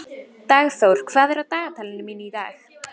Dagþór, hvað er á dagatalinu mínu í dag?